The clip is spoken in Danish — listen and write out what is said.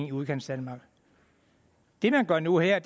i udkantsdanmark det man gør nu her